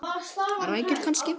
Rækjur kannski?